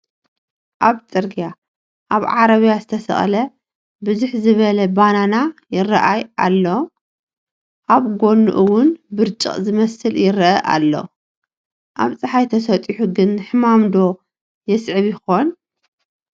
ኣብ ፅርግያ ኣብ ዓረብያ ዘተሰቕለ ብዝሕ ዝበለ ባናና ይራእያ ኣሎ፡፡ ኣብ ጎኒ እውን ብርጭቕ ዝመስል ይረአ ሎ፣ ኣብ ፀሓይ ተሰጢሑ ግን ሕማም ዶ የስዕብ ይኸውን?